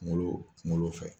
Kungolo kungolo fɛ